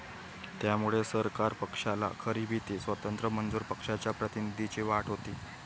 त्यामुळे सरकार पक्षाला खरी भीती स्वतंत्र मजूर पक्षाच्या प्रतिनिधींची वाटत होती